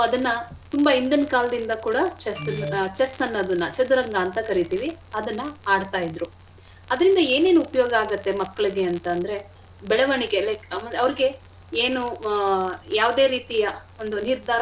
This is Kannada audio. ಅದನ್ನ ತುಂಬಾ ಹಿಂದಿನ ಕಾಲದಿಂದ ಕೂಡ chess chess ಅನ್ನೋದನ್ನ ಚದುರಂಗ ಅಂತ ಕರಿತೀವಿ ಅದನ್ನ ಆಡ್ತಇದ್ರು. ಅದ್ರಿಂದ ಏನೇನ್ ಉಪ್ಯೋಗ ಆಗತ್ತೆ ಮಕ್ಳಿಗೆ ಅಂತ್ ಅಂದ್ರೆ ಬೆಳವಣಿಗೆ like ಅವ್ರಿಗೆ ಏನು ಆ ಯಾವ್ದೆ ರೀತಿಯ ಒಂದು ನಿರ್ಧಾರ.